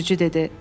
Sürücü dedi.